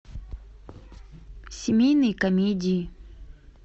семейные комедии